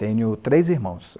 Tenho três irmãos.